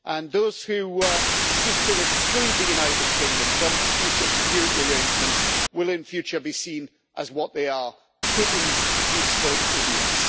Those who seek to exclude the United Kingdom from future security arrangements will in future be seen as what they are Putin's useful idiots.